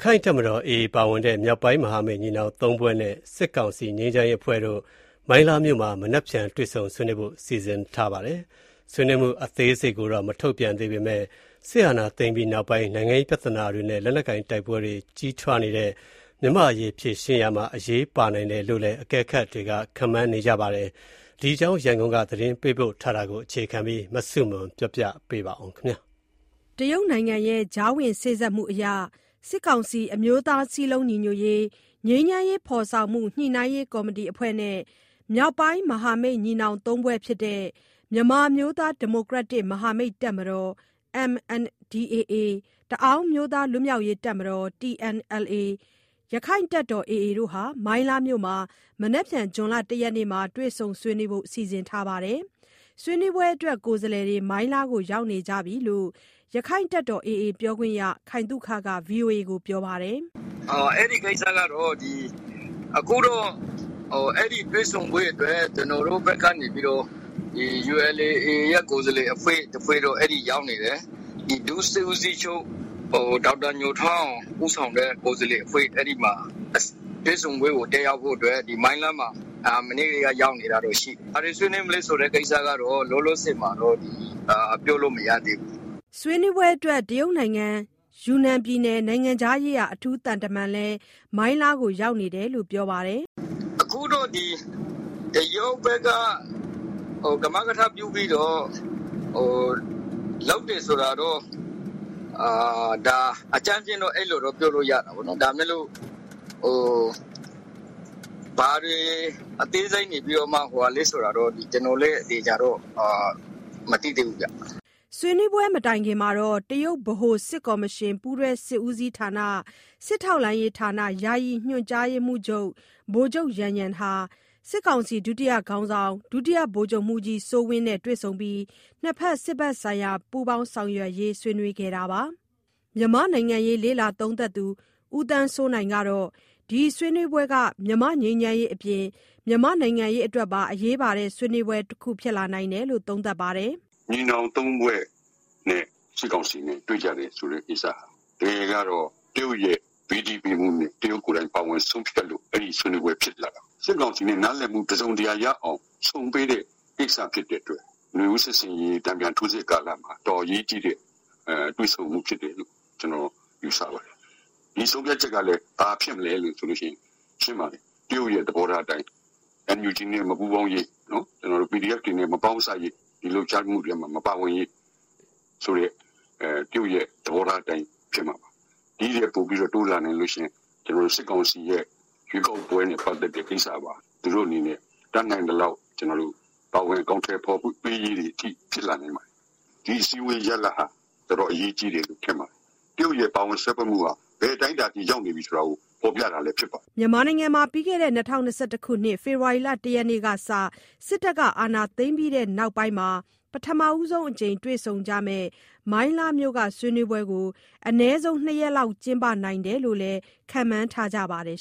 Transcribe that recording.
ခိုင့်တပ်တော် AA ပါဝင်တဲ့မြောက်ပိုင်းမဟာမိတ် ညီနောင်သုံးဖွဲ့တို့နဲ့ စစ်ကောင်စီငြိမ်းချမ်းရေးအဖွဲ့ တို့ မိုင်းလားမြို့မှာ မနက်ဖြန် တွေ့ဆုံဆွေးနွေးဖို့ စီစဉ်ထားပါတယ်။ ဆွေးနွေးမှု အသေးစိတ်ကို မထုတ်ပြန်သေးပေမဲ့ စစ်အာဏာသိမ်းပြီးနောက်ပိုင်း နိုင်ငံရေးပြဿနာတွေနဲ့ လက်နက်ကိုင် တိုက်ပွဲတွေ ကြီးထွားနေတဲ့ မြန်မာ့အရေး ဖြေရှင်းရာမှာ အရေးပါနိုင်တယ်လို့လည်း အကဲခတ်တွေ ခန့်မှန်းနေကြတာပါ။ ဒီအကြောင်း ရန်ကုန်က သတင်းပေးပို့ထားတာကို အခြေခံပြီး မဆုမွန် ပြောပြပေးမှာပါ။ တရုတ်နိုင်ငံရဲ့ ကြားဝင်စေ့စပ်မှုအရ စစ်ကောင်စီ အမျိုးသားစည်းလုံးညီညွတ်ရေး၊ ငြိမ်းချမ်းရေး ဖော်ဆောင်မှုညှိနှိုင်းရေးကော်မတီ အဖွဲ့နဲ့ မြောက်ပိုင်းမဟာမိတ်ညီနောင် ၃ဖွဲ့ ဖြစ်တဲ့ မြန်မာအမျိုးသား ဒီမိုကရက်တစ် မဟာမိတ်တပ်မတော် (MNDAA)၊ တအောင်းအမျိုးသား လွတ်မြောက်ရေးတပ်မတော် (TNLA)၊ ရက္ခိုင့်တပ်တော်(AA)တို့ မိုင်းလားမြို့မှာ မနက်ဖြန် ဇွန် ၁ ရက်နေ့တွေ့ဆုံဆွေးနွေးဖို့စီစဉ်ထားတာပါ။ ဆွေးနွေးပွဲအတွက် ကိုယ်စားလှယ်တွေ မိုင်းလားကို ရောက်နေပြီလို့လည်း ရက္ခိုင့်တပ်တော် AA ပြောခွင့်ရ ခိုင်သုခက ဗွီအိုအေကိုပြောပါတယ်။ "အဲဒီကိစ္စကတော့ ဆွေးနွေးပွဲတက်ဖို့အတွက် ကျနော်တို့ဘက်က ULA/AA ကကိုယ်စားလှယ်တဖွဲ့ တော့အဲကိုရောက်နေတယ်။ ဒုစစ်ဦးချုပ် ဒေါက်တာညိုထွန်းအောင်ဦးဆောင်တဲ့ကိုယ်စားလှယ်အဖွဲ့ မနေ့ထဲက မိုင်းလားမှာရောက်နေပါတယ်။ ဘာတွေဆွေးနွေးမလဲဆိုတာတော့လောလောဆယ် ပြောလို့မရသေးဘူး။" ဆွေးနွေးပွဲအတွက် တရုတ်နိုင်ငံ၊ ယူနန်ပြည်နယ် နိုင်ငံခြားရေးရာ အထူးသံတမန်လည်း မိုင်းလားကို ရောက်နေတယ်လို့ ပြောပါတယ်။ "အခုတော့ တရုတ်ဘက်က ကမကထလုပ်တာလို့တော့ အကြမ်းဖျင်းတော့ပြောလို့ရတာပေါ့နော်။ ဘာတွေ အသေးစိတ် ဖြစ်မလဲဆိုတာတော့ကျနော်လည်းအသေအချာမသိသေးဘူးဗျ။" ဆွေးနွေးပွဲမတိုင်ခင်မှာပဲ တရုတ်ဗဟိုစစ်ကော်မရှင် ပူးတွဲစစ်ဦးစီးဌာန စစ်ထောက်လှမ်းရေးဌာန ယာယီညွှန်ကြားရေးမှုးချုပ် ဗိုလ်ချုပ် ယန်ယန် ဟာ စစ်ကောင်စီ ဒုတိယခေါင်းဆောင် ဒုဗိုလ်ချုပ်မှူးကြီး စိုးဝင်းနဲ့ တွေ့ဆုံပြီး ၂ နိုင်ငံ စစ်ဖက်ဆိုင်ရာ ပူးပေါင်းဆောင်ရွက်ရေး ဆွေးနွေးခဲ့တာပါ။ မြန်မာ့နိုင်ငံရေး လေ့လာသုံးသပ်သူ ဦးသန်းစိုးနိုင်ကတော့ ဒီဆွေးနွေးပွဲက မြန်မာ့ငြိမ်းချမ်းရေးအပြင် မြန်မာ့နိုင်ငံရေး အတွက်ပါ အရေးပါတဲ့ဆွေးနွေးပွဲ တခုဖြစ်လာနိုင်တယ်လို့ သုံးသပ်ပါတယ်။ "ညီနောင် ၃ ဖွဲ့နဲ့စစ်ကောင်စီနဲ့တွေ့ကြတာဟာတကယ်တော့ တရုတ်ရဲ့ဘေးတီးပေးမှုနဲ့ တရုတ်နဲ့ပါဝင် ပတ်သတ်မှုကြောင့်ဖြစ်လာ တာပါ။ စစ်ကောင်စီနဲ့နားလည်မှုတစုံတရာ ရဖို့အတွက်ဆုံပေးတဲ့ သဘော ဖြစ်တဲ့အတွက် နွေဦးစစ်ဆင်ရေး တန်ပြန်ထိုးစစ် လုပ်နေချိန်ကာလမှာ တော်တော်အရေးကြီးတဲ့ တွေ့ဆုံမှုဖြစ်တယ်လို့ ကျနော်ယူဆတယ်။ ဒီဆုံးဖြတ်ချက်ကလည်းဘာဖြစ်မလဲဆိုရင် ရှင်းပါတယ်။ တရုတ်ရဲ့ သဘောထားအတိုင်း NUG နဲ့မပူးပေါင်းရေး၊ PDF တွေနဲ့မပေါင်းစပ်ရေး ဒီလှုပ်ရှားမှုမှာမပါဝင်ရေး ဆိုတဲ့ တရုတ်ရဲ့သဘောတိုင်းဖြစ်လာမှာပါ။ ဒီထပ်ပိုတိုးလာရင် စစ်ကောင်စီရဲ့ ရွေးကောက်ပွဲမှာတတ်နိုင် သလောက်ပါဝင်ကူညီရေးထိဖြစ်လာနိုင်ပါတယ်။ ဒီအစည်းအဝေးရလဒ်ဟာတော်တော် အရေးကြီးတယ် မြင်ပါတယ်။ တရုတ်ပါဝင်မှုဟာ ဘယ်အတိုင်းအတာထိပါဝင်နေလဲဆိုတာလဲဖော်ပြနေတာဖြစ်ပါတယ်။" မြန်မာနိုင်ငံမှာ ၂၀၂၁ ခုနှစ် စစ်တပ်က အာဏာသိမ်းပြီးနောက်ပိုင်း ပထမဆုံးအကြိမ် တွေ့ဆုံကြမယ့် မိုင်းလားမြို့က ဆွေးနွေးပွဲကို အနည်းဆုံး ၂ ရက်လောက် ကျင်းပနိုင်တယ်လို့လည်း ခန့်မှန်းထားကြပါတယ်